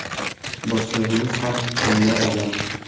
Boshlig‘imiz ham “tilla” odam.